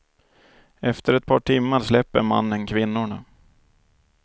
Efter ett par timmar släpper mannen kvinnorna.